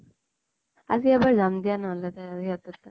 আজি এবাৰ যাম দিয়া নহলে তে সিহঁতৰ তাত